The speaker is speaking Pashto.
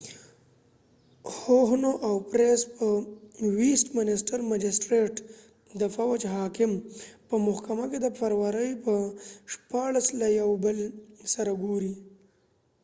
هوهنو او پرېس huhne and pryce به ویسټ منسټر مجسټرېټ د فوج حاکم په محکمه کې د فبروري پر 16 له یو بل سره وګوري